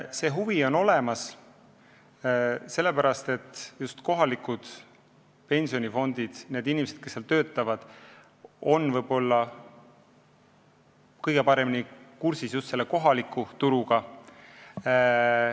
See huvi on olemas, sest just kohalikes pensionifondides töötavad inimesed on kõige paremini kursis kohaliku turuga.